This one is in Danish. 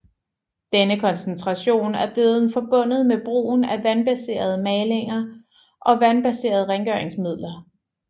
Denne koncentration er blevet forbundet med brugen af vandbaserede malinger og vandbaserede rengøringsmidler